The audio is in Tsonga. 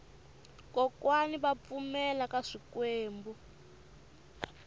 kokwani va pfumela ka swikwembu